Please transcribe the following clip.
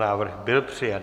Návrh byl přijat.